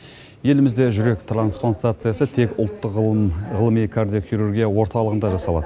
елімізде жүрек трансплантациясы тек ұлттық ғылыми кардиохирургия орталығында жасалады